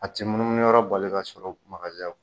A tɛ munu munu yɔrɔ bɛ la ka sɔrɔ